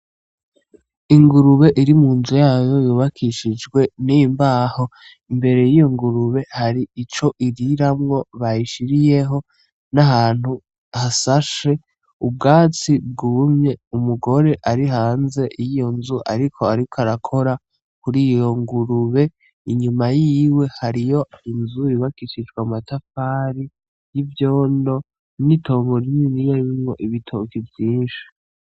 Ingurube iri mu nzu yayo yubakishijwe n’imbaho , imbere y’iyo ngurube hari ico iriramwo bayishiriyeho n’ahantu hasashe ubwatsi bwumye umugore ari hanze yiyo nzu ariko arikwarakora kuriyo ngurube, inyuma yiwe hariho inzu yubakishijwe amatafari y’ivyondo n’itongo rininiya ririmwo ibitoke vyinshi.